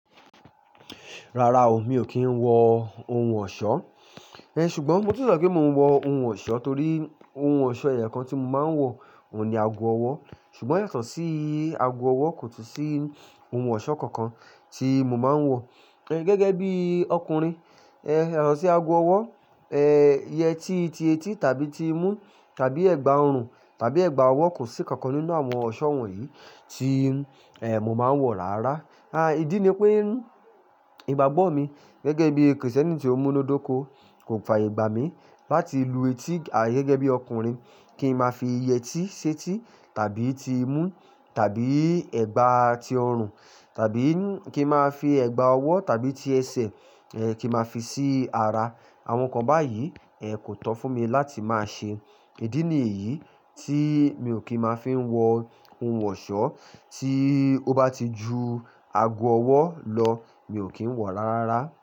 Rárá o, mi ò kí ń wọ ohun ọ̀ṣọ́, e ṣùgbọ́n mo tún le sọ pé mò ń wọ ohun ọ̀ṣọ́ torí ohun ọ̀ṣọ́ ẹyẹ kan tí mo máa ń wọ òun ni ago ọwọ́. Ṣùgbọ́n yàtọ̀ sí ago ọwọ́ kò tún sí ohun ọ̀ṣọ́ kankan tí mo máa ń wọ. Ẹ gẹ́gẹ́ bí ọkùnrin, ẹ̀ yàtọ̀ sí ago ọwọ́, ẹ yẹ tí ti etí tàbí ti imú tàbí ẹ̀gbà ọrùn tàbí ẹ̀gbà ọwọ́ kò sí nkankan nínú àwọn ọ̀ṣọ́ wọ̀nyí tí mo máa ń wọ rárá. À idí ni pé ìgbàgbọ́ mi gẹ́gẹ́ bí Kristẹni tí ó múnú dóko kò fààyè gbà mí láti lu etí gẹ́gẹ́ bí ọkùnrin kí n máa fi iye etí ṣetí tàbí ti imú tàbí ẹ̀gbà ti ọrùn tàbí kí n máa fi ẹ̀gbà ọwọ́ tàbí ti ẹsẹ̀ kí n máa fi sí ara. Àwọn nǹkan báyìí e kò tán fún mi láti máa ṣe. Ìdí nìyí tí mi ò kí máa fi ń wọ ohun ọ̀ṣọ́ tí ó bá ti ju ago ọwọ́ lọ, mi ò kí ń wọ̀ rárá.